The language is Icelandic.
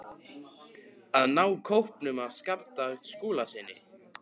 AÐ NÁ KÓPNUM AF SKAPTA SKÚLASYNI.